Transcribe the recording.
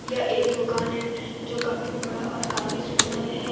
यह एक दुकान है जो काफी बड़ा और काफी सुंदर है।